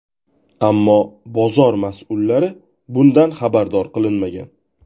Ammo bozor mas’ullari bundan xabardor qilinmagan.